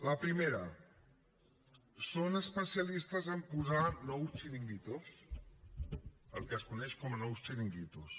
la primera són especialistes en posar nous xiringuitos el que es coneix com a nous xiringuitos